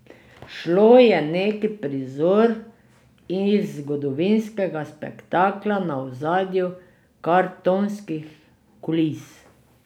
Šlo je neki prizor iz zgodovinskega spektakla na ozadju kartonskih kulis.